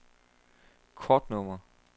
kortnummer